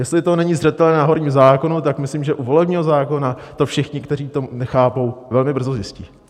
Jestli to není zřetelné na horním zákonu, tak myslím, že u volebního zákona to všichni, kteří to nechápou, velmi brzo zjistí.